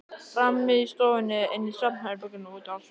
Frammi í stofunni, inni í svefnherberginu og úti á svölunum.